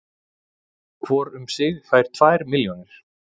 Hvor um sig fær tvær milljónir